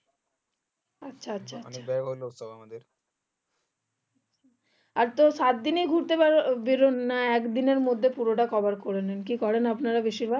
আর তো সাত দিনই গুরতে বেরোন নাকি একদিন এর মধ্যে সব cover করে নেন কি করেন আপনারা বেশির ভাগ